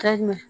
Ka ɲa